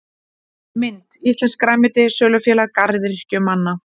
Mynd: Íslenskt grænmeti- Sölufélag garðyrkjumanna.